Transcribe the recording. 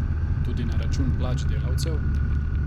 Tudi na račun plač delavcev?